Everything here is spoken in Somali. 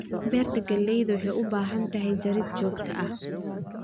Beerta galleyda waxay u baahan tahay jarid joogto ah.